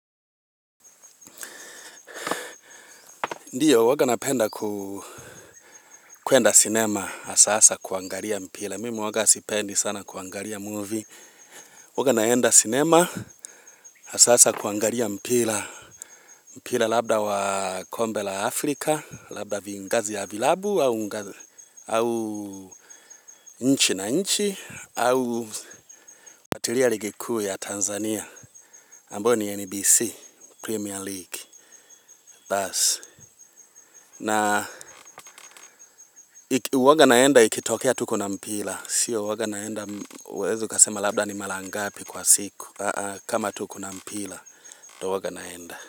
Ndiyo, huwa napenda kuenda cinema, haswa saa za kuangalia mpira. Mimi huwa sipendi sana kuangalia movie. Huwa naenda cinema, haswa saa za kuangalia mpira. Mpira labda wa kombe la Afrika, labda vingazi ya vilabu, au nchi na nchi, au nafuatilia ligi kuu ya Tanzania. Ambayo ni NBC, Premier League. Na huwa naenda ikitokea tuko na mpira. Pia huwa naenda huwezi ukasema labda ni mara ngapi kwa siku kama tuko na mpira ndio huwa naenda.